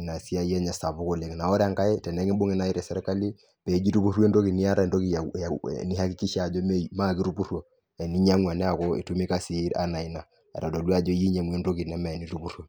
inasiai enye sapuk oleng ore enkae tesirkaki peeji itupuru entoki niata entoki naakikisha ajo meeitupuruo eneeko inyiang'ua entoki etodua ajo inyiang'ua entoki neme itupuruo.